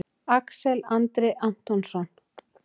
Axel Andri Antonsson